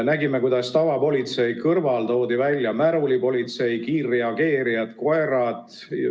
Nägime, kuidas tavapolitsei kõrval toodi välja märulipolitsei, kiirreageerijad ja koerad.